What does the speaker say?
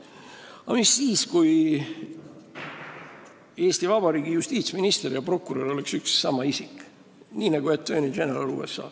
Aga mis siis saaks, kui Eesti Vabariigi justiitsminister ja prokurör oleks üks ja sama isik, nii nagu on attorney general USA-s?